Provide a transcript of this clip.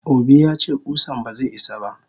Obi yace kusan baze isa ba.